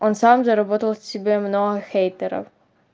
он сам заработал себе много врагов